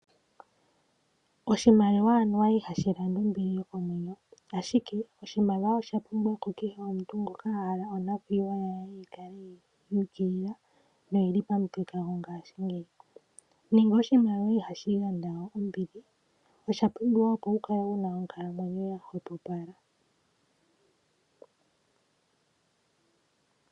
Oshimaliwa anuwa ihashi landa ombili yokomwenyo ashike oshimaliwa oshapumbiwa kukeshe omuntu ngoka ahala onakwiiwa ye yikale yuukilila no oyili pamuthika gongashingeyi nenge oshimaliwa ihashi gandja ombili oshapumbiwa opo wukale wuna onkalamwenya yahwepopala.